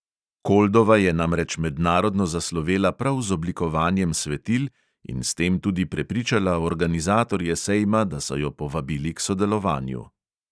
Koldova je namreč mednarodno zaslovela prav z oblikovanjem svetil in s tem tudi prepričala organizatorje sejma, da so jo povabili k sodelovanju.